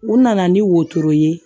U nana ni wotoro ye